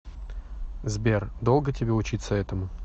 сбер долго тебе учиться этому